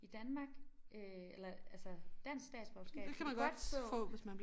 I Danmark øh eller altså dansk statsborgerskab kan man godt få